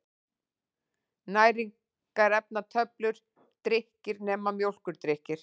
Næringarefnatöflur: Drykkir, nema mjólkurdrykkir.